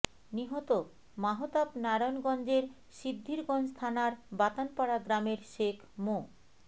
নিহত মাহতাব নারায়ণগঞ্জের সিদ্ধিরগঞ্জ থানার বাতানপাড়া গ্রামের শেখ মো